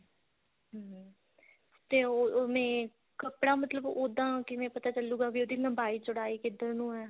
ਹਮ ਤੇ ਉਵੇਂ ਕੱਪੜਾ ਮਤਲਬ ਓਦਾਂ ਕਿਵੇਂ ਪਤਾ ਚਲੁੱਗਾ ਵੀ ਉਹਦੀ ਲੰਬਾਈ ਚੋੜਾਈ ਕਿੱਧਰ ਨੂੰ ਏ